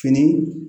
Fini